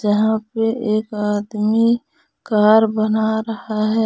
यहां पे एक आदमी कार बना रहा है।